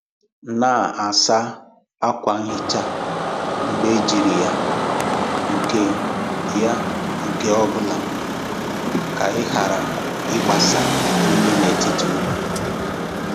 Na-asa um ákwà nhicha mgbe ejiri ya nke ya nke ọ bụla ka ị ghara ịgbasa unyi n'etiti elu.